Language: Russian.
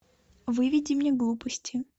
выведи мне глупости